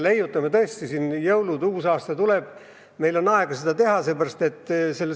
Ees on jõulud ja uus aasta tuleb, meil on aega seda leiutada.